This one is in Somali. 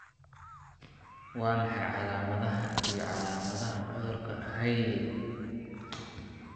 Waa maxay calaamadaha iyo calaamadaha cudurka Hailey Hailey?